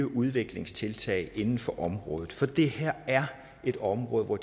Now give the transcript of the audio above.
udviklingstiltag inden for området for det her er et område hvor